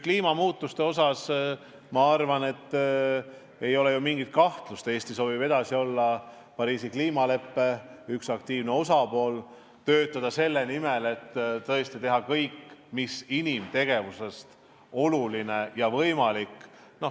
Kliimamuutuste osas pole minu arvates mingit kahtlust, et Eesti soovib edasi olla Pariisi kliimaleppe aktiivne osapool, töötada selle nimel, et tõesti tehtaks kõik, mis inimtegevusega võimalik on.